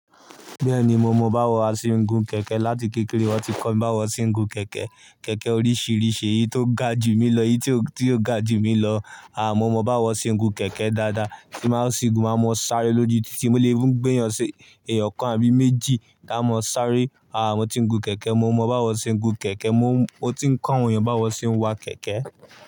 Bẹ́ẹ̀ni, mo mọ báwo a ṣe ń gun kẹ̀kẹ́. Láti kékeré wọ́n ti kọ mí báwo ṣe ń gun kẹ̀kẹ́. Kẹ̀kẹ́ oríṣìíríṣìí, èyí tó ga jù mí lọ, èyí tí ó, tí ó ga jù mí lọ. A, mo mọ báwo ṣe ń gun kẹ̀kẹ́ dáadáa. Kí máa ṣe gùn, máa mọ sáré lójú títí mó lè even gbéyàn ṣe èèyàn kan àbí méjì taá mọ sáré. A, mo ti ń gun kẹ̀kẹ́, mo mọ báwo ṣe ń gun kẹ̀kẹ́. Mo, mo ti ń kọ̀ awon eeyan báwo na ṣe ń wa kẹ̀kẹ́